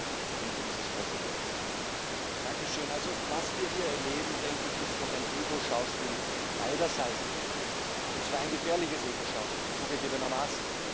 Frau Präsidentin! Was wir hier erleben, denke ich, ist doch ein Ego Schauspiel beider Seiten, und zwar ein gefährliches Ego Schauspiel zugegebenermaßen.